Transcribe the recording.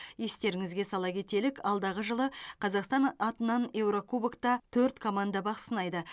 естеріңізге сала кетелік алдағы жылы қазақстан атынан еурокубокта төрт команда бақ сынайды